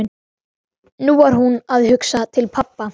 Nú var hún að hugsa til pabba.